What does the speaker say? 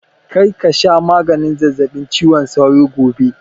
Kar ka sha maganin zazzaɓin cizon sauron gobe!